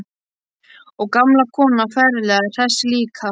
Og gamla konan ferlega hress líka.